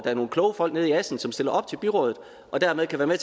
er nogle kloge folk i assens som stiller op til byrådet og dermed kan være